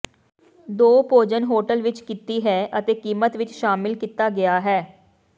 ਦੋ ਭੋਜਨ ਹੋਟਲ ਵਿਚ ਕੀਤੀ ਹੈ ਅਤੇ ਕੀਮਤ ਵਿੱਚ ਸ਼ਾਮਿਲ ਕੀਤਾ ਗਿਆ ਹੈ